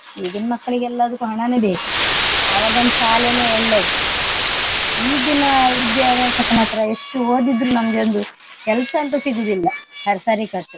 ಈಗಿನ್ ಮಕ್ಲಿಗೆಲ್ಲದಕ್ಕು ಹಣನೆ ಬೇಕು ಆವಾಗನ್ ಶಾಲೇನೆ ಒಳ್ಳೇದು. ಈಗಿನ ವಿದ್ಯಾಭ್ಯಾಸಕ್ಕೆ ಮಾತ್ರ ಎಷ್ಟು ಓದಿದ್ರು ನಮ್ಗೆ ಒಂದು ಕೆಲ್ಸಂತೂ ಸಿಗುದಿಲ್ಲ ಸರ್~ ಸರಿಕಟ್ .